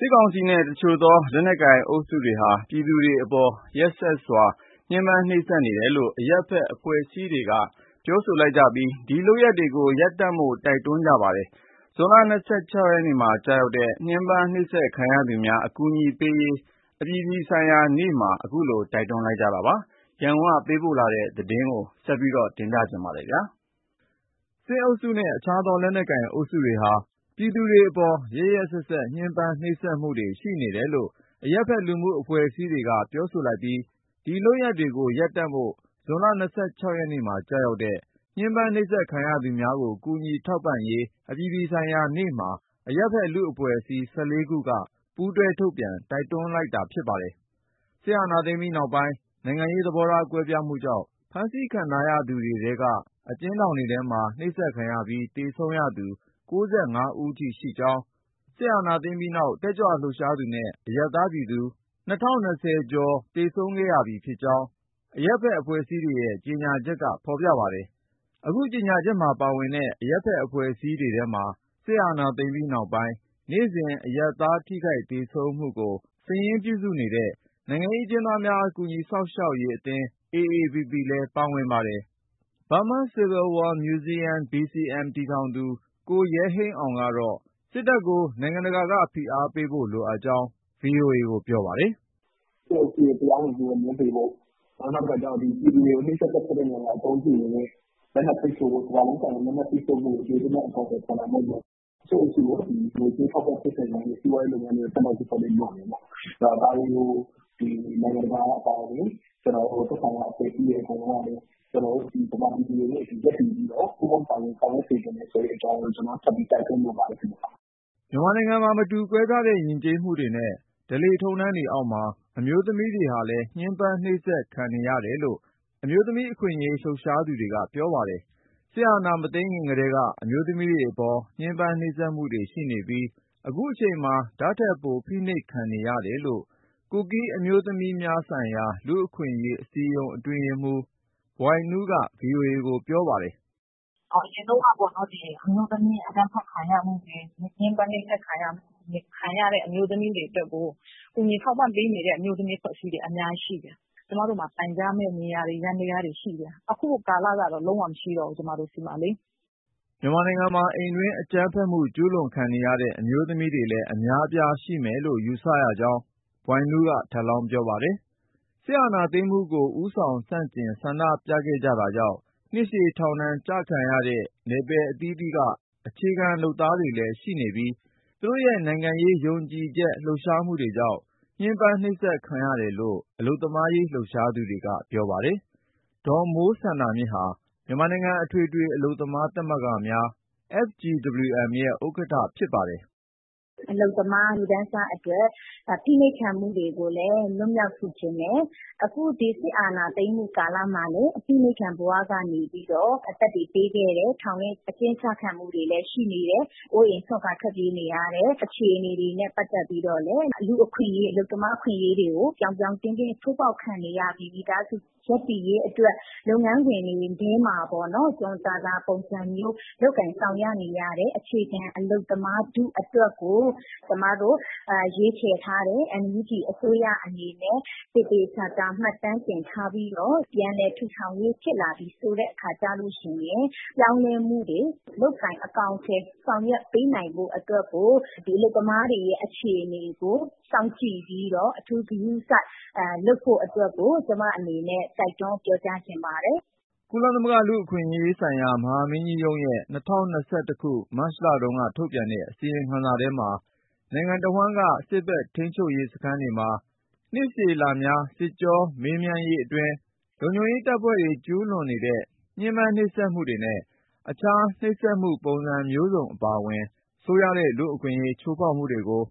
စစ်ကောင်စီနဲ့ တခြားသော လက်နက်ကိုင်အုပ်စုများအနေနဲ့ ပြည်သူတွေ အပေါ် ရက်စက်စွာညှဉ်းပန်း နှိပ်စက်မှုတွေရှိနေတယ်လို့ အရပ်ဘက်အဖွဲ့အစည်းတွေက ပြောဆိုလိုက်ပြီး ဒီလုပ်ရပ်တွေကို ရပ်တန့်ဖို့လည်း တိုက်တွန်းလိုက်ပါတယ်။ ဇွန်လ ၂၆ ရက်နေ့မှာ ကျရောက်တဲ့ ညှဉ်းပန်းနှိပ်စက်ခံရသူများကို ကူညီထောက်ပံ့ရေးအပြည်ပြည်ဆိုင်ရာနေ့မှာ အခုလို တိုက်တွန်းတာ ဖြစ်ပါတယ်။ ရန်ကုန်က ပေးပို့တဲ့ သတင်းကို ကိုဉာဏ်ဝင်းအောင် တင်ပြပေးပါမယ်။ စစ်အုပ်စုနဲ့ တခြားသောလက်နက်ကိုင် အုပ်စုတွေဟာ ပြည်သူတွေအပေါ် ရက်ရက်စက်စက် ညှဉ်းပန်းနှိပ်စက်မှုနေတယ်လို့ အရပ်ဘက်လူမှု အဖွဲ့အစည်းတွေက ပြောဆိုလိုက်ပြီး ဒီလုပ်ရပ်တွေကို ရပ်တန့်ဖို့ ဇွန်လ ၂၆ ရက်နေ့မှာ ကျရောက်တဲ့ ညှဉ်းပန်းနှိပ်စက်ခံရသူများကို ကူညီထောက်ပံ့ရေး အပြည်ပြည်ဆိုင်ရာနေ့မှာ အရပ်ဘက်လူမှုအဖွဲ့အစည်း ၁၄ ခုက ပူးတွဲ ထုတ်ပြန် တိုက်တွန်းတာ ဖြစ်ပါတယ်။ စစ်အာဏာသိမ်းပြီးနောက်ပိုင်း နိုင်ငံရေး သဘောထား ကွဲပြားမှုကြောင့် ဖမ်းဆီးခံထားရသူတွေထဲက အကျဉ်းထောင်တွင်းမှာ နှိပ်စက်ခံရပြီး သေဆုံးသူက ၉၅ ဦးထိ ရှိကြောင်း၊ စစ်အာဏာသိမ်းပြီးနောက် တက်ကြွလှုပ်ရှားသူနဲ့ အရပ်သားပြည်သူ ၂၀၂၁ ဦးတို့ သေဆုံးခဲ့ရပြီး ဖြစ်ကြောင်းလည်း အရပ်ဘက် အဖွဲ့အစည်းတွေရဲ့ ကြေညာချက်က ဖော်ပြပါတယ်။ အခု ကြေညာချက်မှာ ပါဝင်တဲ့ အရပ်ဘက် အဖွဲ့အစည်းတွေထဲမှာ စစ်အာဏာသိမ်းပြီးနောက်ပိုင်း နေ့စဉ် အရပ်သား ထိခိုက် သေဆုံးမှုတွေကို စာရင်းပြုစုနေတဲ့ နိုင်ငံရေး အကျဉ်းသားများ ကူညီစောင့်ရှောက်ရေး အသင်း AAPP လည်း ပါဝင်ပါတယ်။ Burma Civil War Museum (BCM) တည်ထောင်သူ ကိုရဲဟိန်းအောင်ကတော့ နိုင်ငံတကာက စစ်တပ်ကို ဖိအားပေးဖို့ လိုအပ်ကြောင်း ဗွီအိုအေကို ပြောပါတယ်။ "စစ်အုပ်စုရဲ့ တရားဝင်မှုကို ငြင်းပယ်ဖို့၊ နောက်တခုက ပြည်သူတွေကို နှိပ်စက်သတ်ဖြတ်တဲ့နေရာမှာ အသုံးပြုနေတဲ့ လက်နက်တွေကို ကမ္ဘာလုံးဆိုင်ရာ လက်နက်ပိတ်ဆို့ဖို့ကို ကျယ်ကျယ်ပြန့်ပြန့် အကောင်အထည်ဖော်ဖို့၊ စစ်အုပ်စုကို ငွေကြေးအထောက်အပံ့ဖြစ်စေနိုင်တဲ့ စီးပွားရေးလုပ်ငန်းတွေကို ဒဏ်ခတ်ပိတ်ဆို့ အကောင်အထည်ဖော်ဖို့၊ ဒါတွေကို နိုင်ငံတကာအပါအဝင် သက်ဆိုင်တဲ့အဖွဲ့အစည်းတွေ အကုန်လုံးကလည်း ကျနော်တို့ ဗမာပြည်သူတွေနဲ့ အတူရပ်တည်ပြီးတော့ ပူးပေါင်းပါဝင်စေချင်တယ် ဆိုတဲ့အကြောင်းကို ကျနော်က ထပ်ပြီးတိုက်တွန်းလိုပါတယ်ခင်ဗျ။" မြန်မာနိုင်ငံမှာ မတူကွဲပြားတဲ့ ယဉ်ကျေးမှုတွေနဲ့ ဓလေ့ထုံးတမ်းတွေအောက်မှာ အမျိုးသမီးတွေဟာလည်း ညှဉ်းပန်းနှိပ်စက်ခံနေရတယ်လို့ အမျိုးသမီးအခွင့်အရေး လှုပ်ရှားနေသူတွေက ပြောပါတယ်။ စစ်အာဏာမသိမ်းခင်ကတည်းက အမျိုးသမီးတွေအပေါ် ညှင်းပန်းနှိပ်စက်မှုတွေ ရှိနေပြီး အခုချိန်မှာ ဒါ့ထက်ပို ဖိနှိပ်ခံနေရတယ်လို့ ကူကီးအမျိုးသမီးများဆိုင်ရာ လူ့အခွင့်အရေးအစည်းအရုံး အတွင်းရေးမှူး ဘွိုင်နူးက ဗီအိုအေကိုပြောပါတယ်။ " အရင်တုန်းကအမျိုးသမီး အကြမ်းဖက်ခံရမှုတွေ၊ ညှင်းပန်းနှိပ်စက်ခံရမှုတွေမှာ ကူညီထောက်ပံ့နေတဲ့ အမျိုးသမီးအဖွဲ့အစည်းတွေ အများကြီးရှိတယ်။ ကျမတို့မှာ တိုင်ကြားရမယ့်နေရာတွေ၊ ယန္တရားတွေရှိတယ်။ အခုကာလကတော့ ကျမတို့ဆီမှာ လုံးဝမရှိတော့ဘူး။ ” မြန်မာနိုင်ငံမှာ အိမ်တွင်း အကြမ်းဖက်မှု ကျူးလွန်ခံနေရတဲ့ အမျိုးသမီးတွေလည်း အများအပြား ရှိနေမယ်လို့ ယူဆကြောင်း ကူကီးအမျိုးသမီးများဆိုင်ရာ လူ့အခွင့်အရေးအစည်းအရုံး အတွင်းရေးမှူး ဘွိုင်နူးက ထပ်လောင်း ပြောပါတယ်။ စစ်အာဏာသိမ်းမှုကို ဦးဆောင် ဆန့်ကျင် ဆန္ဒပြခဲ့ကြတာကြောင့် နှစ်ရှည် ထောင်ချခံရတဲ့ နယ်ပယ် အသီးသီးက အခြေခံ လုပ်သားတွေလည်း ရှိနေပြီး သူတို့ရဲ့ နိုင်ငံရေး ယုံကြည်ချက်ကြောင့် လှုပ်ရှားမှုတွေကြောင့် ညှဉ်းပန်း နှိပ်စက်ခံရတယ်လို့လည်း အလုပ်သမားရေး လှုပ်ရှားသူတွေက ပြောပါတယ်။ ဒေါ်မိုးစန္ဒာမြင့်ဟာ မြန်မာနိုင်ငံ အထွေထွေအလုပ်သမား သမဂ္ဂများ FGWM ရဲ့ ဥက္ကဋ္ဌ ဖြစ်ပါတယ်။ "အလုပ်သမားလူတန်းစားအတွက် အဖိနှိပ်ခံမှုတွေကိုလည်း လွတ်မြောက်စေချင်တယ်။ အခု စစ်အာဏာသိမ်းမှုကာလမှာလည်း အဖိနှိပ်ခံဘဝကနေပြီးတော့ အသက်တွေပေးခဲ့တယ်။ ထောင်တွင်းအကျဉ်းကျခံမှုတွေလည်း ရှိနေတယ်။ အိုးအိမ်စွန့်ခွာ ထွက်ပြေးနေရတဲ့ အခြေအနေတွေနဲ့ ပတ်သက်ပြီးတော့လည်း လူ့အခွင့်အရေး၊ အလုပ်သမားအခွင့်အရေးတွေကို ပြောင်ပြောင်တင်းတင်း ချိုးဖောက်ခံနေရပြီး ဒီမိသားစုရပ်တည်ရေးအတွက် လုပ်ငန်းခွင်တွေထဲမှာ လုပ်ကိုင်ဆောင်ရွက်နေရတဲ့ အခြေခံအလုပ်သမားထုအတွက်ကို ကျမတို့ရွေးချယ်ထားတဲ့ NUG အစိုးရအနေနဲ့ သေသေချာချာမှတ်တမ်းတင်ထားပြီးတော့ ပြန်လည်ထူထောင်ရေး ဖြစ်လာပြီဆိုတဲ့အခါ ကျလို့ရှိရင် ပြောင်းလဲမှုတွေလုပ်ကိုင် ဆောင်ရွက်ပေးနိုင်ဖို့အတွက် ဒီအလုပ်သမားတွေရဲ့အခြေအနေကို စောင့်ကြည့်ပြီးတော့ အထူးဂရုစိုက်လုပ်ဖို့အတွက်ကို ကျမအနေနဲ့ တိုက်တွန်းပြောကြားချင်ပါတယ်။" ကုလသမဂ္ဂ လူ့အခွင့်အရေးဆိုင်ရာ မဟာမင်းကြီးရုံးရဲ့ ၂၀၂၁ ခုနှစ်၊ မတ်လတုန်းက ထုတ်ပြန်တဲ့အစီရင်ခံစာမှာ နိုင်ငံတဝှမ်းက စစ်ဘက်ထိန်းသိမ်းရေးစခန်းတွေမှာ စစ်ကြောမေးမြန်းရေးအတွင်း လုံခြုံရေးတပ်ဖွဲ့တွေ ကျူးလွန်နေတဲ့ နှိပ်စက်ညှဉ်းပန်းမှုတွေနဲ့ တခြားနှိပ်စက်မှုပုံစံမျိုးစုံအပါအဝင် ဆိုးရွားတဲ့လူ့အခွင့်အရေး ချိုးဖောက်မှုတွေကို